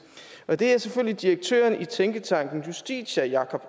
og det er selvfølgelig direktøren i tænketanken justitia jacob